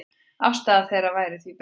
Afstaða þeirra væri því breytt.